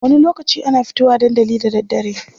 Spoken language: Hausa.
Wani lokaci ana fito wa dandali da daddare.